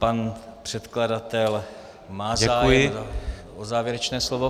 Pan předkladatel má zájem o závěrečné slovo.